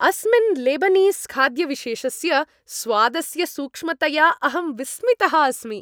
अस्मिन् लेबनीस् खाद्यविशेषस्य स्वादस्य सूक्ष्मतया अहं विस्मितः अस्मि।